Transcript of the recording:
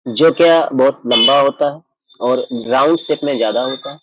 जोकि बहुत लम्बा होता है और राउंड शेप में ज्यादा होता है।